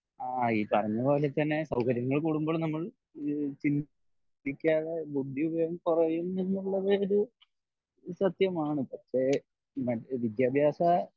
ആഹ് ഇ പറഞ്ഞ പോലെ തന്നെ സൗകര്യങ്ങൾ കൂടുമ്പോൾ നമ്മൾ ചിന്തിക്കാതെ ബുദ്ധി ഉപയോഗം കൊറയും എന്നുള്ളത് ഒരു സത്യമാണ് പക്ഷ വിദ്യാഭ്യാസ